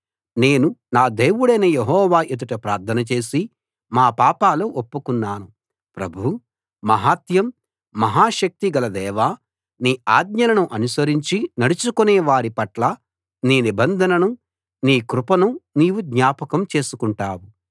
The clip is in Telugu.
నేను నా దేవుడైన యెహోవా ఎదుట ప్రార్థన చేసి మా పాపాలు ఒప్పుకున్నాను ప్రభూ మహాత్మ్యం మహా శక్తి గల దేవా నీ ఆజ్ఞలను అనుసరించి నడుచుకునే వారి పట్ల నీ నిబంధనను నీ కృపను నీవు జ్ఞాపకం చేసుకుంటావు